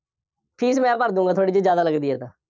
fees ਮੈਂ ਭਰ ਦੇਊਂਗਾ, ਥੋੜ੍ਹੀ ਜਿਹੀ ਜ਼ਿਆਦਾ ਲੱਗਦੀ ਹੈ ਤਾਂ,